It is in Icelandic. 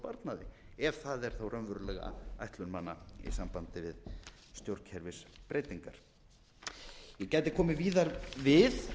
að ná fram einhverri hagræðingu og sparnaði ef það er þá raunverulega ætlun manna í sambandi við stjórnkerfisbreytingar ég gæti komið víðar við